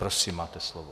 Prosím, máte slovo.